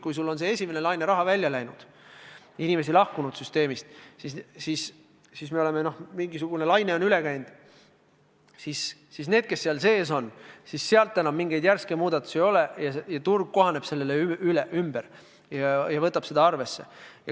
Kui see esimese laine raha on välja läinud, inimesi süsteemist lahkunud, mingisugune laine on üle käinud, siis need, kes sinna edasi jäävad, enam mingeid järske muudatusi ei tee ja turg kohaneb sellega, võtab seda arvesse.